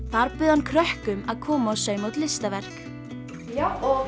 þar bauð hann krökkum að koma og sauma út listaverk